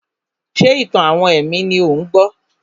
Ṣé ìtàn-àwọn ẹ̀mí ni ò ń gbọ́?